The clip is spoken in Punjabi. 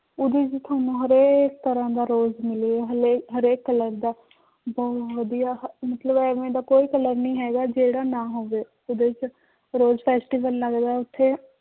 ਉਹਦੇ ਚ ਤੁਹਾਨੂੰ ਹਰੇਕ ਤਰ੍ਹਾਂ ਦਾ rose ਮਿਲੇਗਾ ਹਾਲੇ ਹਰੇਕ color ਦਾ ਬਹੁਤ ਵਧੀਆ ਮਤਲਬ ਇਵੇਂ ਦਾ ਕੋਈ color ਨੀ ਹੈਗਾ ਜਿਹੜਾ ਨਾ ਹੋਵੇ ਉਹਦੇ ਚ rose festival ਲੱਗਦਾ ਹੈ ਉੱਥੇ